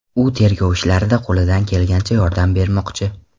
U tergov ishlarida qo‘lidan kelgancha yordam bermoqchi.